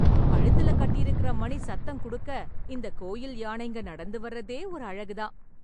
கழுத்துல கட்டிருக்கற மணி சத்தம் கொடுக்க, இந்த கோயில் யானைங்க நடந்து வர்றதே ஒரு அழகு தான்.